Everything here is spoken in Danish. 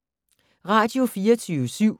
Radio24syv